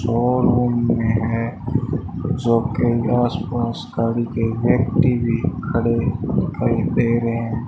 और रूम में है जो कि आस पास गाड़ी के व्यक्ति भी खड़े दिखाई दे रहे है।